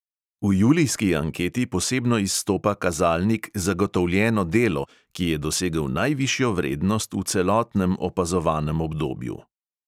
V julijski anketi posebno izstopa kazalnik zagotovljeno delo, ki je dosegel najvišjo vrednost v celotnem opazovanem obdobju.